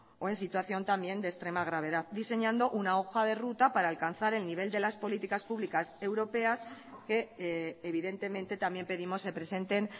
o en situación también de extrema gravedad diseñando una hoja de ruta para alcanzar el nivel de las políticas públicas europeas que evidentemente también pedimos se presenten